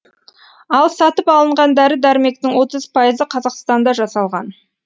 ал сатып алынған дәрі дәрмектің отыз пайызы қазақстанда жасалған